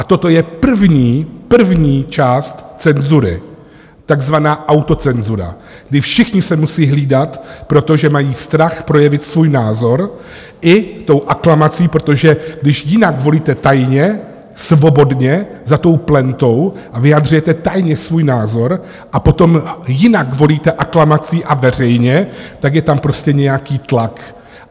A toto je první, první část cenzury, takzvaná autocenzura, kdy všichni se musí hlídat, protože mají strach projevit svůj názor i tou aklamací, protože když jinak volíte tajně, svobodně za tou plentou a vyjadřujete tajně svůj názor a potom jinak volíte aklamací a veřejně, tak je tam prostě nějaký tlak.